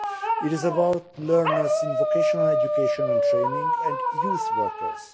It is about learners in vocational education and training, and youth workers.